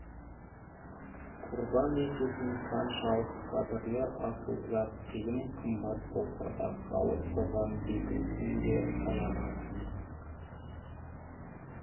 құрбан ететін қаншалық қадірлі асыл зат қиын қымбат болса да халық соған бекінсін де аямасын